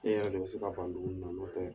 E yɛrɛ de bi se ka ban dumuni na nɔ tɛ